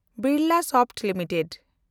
Birlasoft limited